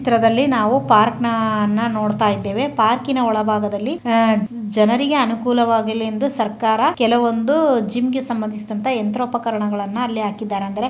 ಈ ಚಿತ್ರದಲ್ಲಿ ನಾವು ಒಂದು ಪಾರ್ಕ್ನ ನೋಡುತಾಯಿದೆವೆ ಪಾರ್ಕಿನ ಹೊಳಭಾಗದಲ್ಲಿ ಜನರಿಗೆ ಅನುಕೂಲವಾಗಲಿ ಎಂದು ಸರ್ಕಾರ ಕೆಲವೊಂದು ಜಿಮ್ ಗೆ ಸಂಬಂದಿಸಿದಂತ ಯಂತ್ರ ಉಪಕರಣಗಳನ್ನ--